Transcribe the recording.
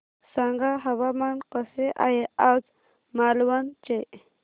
सांगा हवामान कसे आहे आज मालवण चे